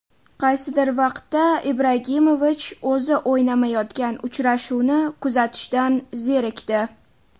Qaysidir vaqtda Ibragimovich o‘zi o‘ynamayotgan uchrashuvni kuzatishdan zerikdi.